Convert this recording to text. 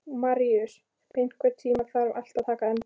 Maríus, einhvern tímann þarf allt að taka enda.